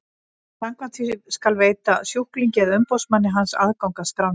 Samkvæmt því skal veita sjúklingi eða umboðsmanni hans aðgang að skránni.